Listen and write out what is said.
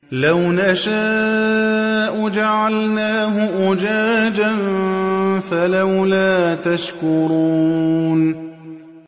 لَوْ نَشَاءُ جَعَلْنَاهُ أُجَاجًا فَلَوْلَا تَشْكُرُونَ